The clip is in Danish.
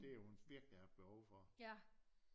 Det har hun virkelig haft behov for